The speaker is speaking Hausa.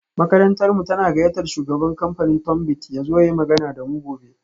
Makarantarmu tana gayyatar shugaban kamfanin Tunbit ya zo ya yi magana da mu gobe